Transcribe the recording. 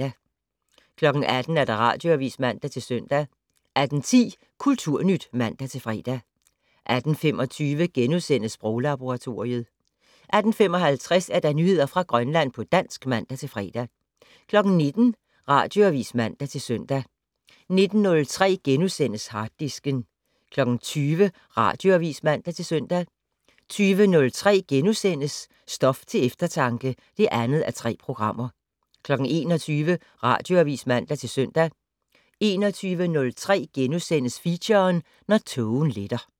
18:00: Radioavis (man-søn) 18:10: Kulturnyt (man-fre) 18:25: Sproglaboratoriet * 18:55: Nyheder fra Grønland på dansk (man-fre) 19:00: Radioavis (man-søn) 19:03: Harddisken * 20:00: Radioavis (man-søn) 20:03: Stof til eftertanke (2:3)* 21:00: Radioavis (man-søn) 21:03: Feature: Når tågen letter *